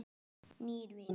Nýir vinir